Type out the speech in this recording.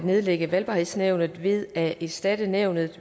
at nedlægge valgbarhedsnævnet ved at erstatte nævnet